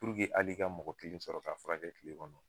hali ka mɔgɔ kelen sɔrɔ ka furakɛ kile kɔnɔ